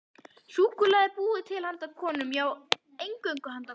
Súkkulaði er búið til handa konum, já, eingöngu handa konum.